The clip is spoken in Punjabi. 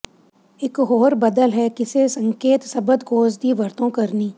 ਇਕ ਹੋਰ ਬਦਲ ਹੈ ਕਿਸੇ ਸੰਕੇਤ ਸ਼ਬਦਕੋਸ਼ ਦੀ ਵਰਤੋਂ ਕਰਨੀ